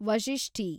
ವಶಿಷ್ಟಿ